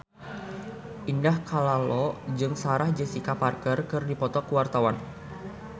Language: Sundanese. Indah Kalalo jeung Sarah Jessica Parker keur dipoto ku wartawan